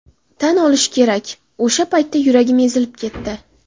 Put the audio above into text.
Tan olishim kerak, o‘sha paytda yuragim ezilib ketdi.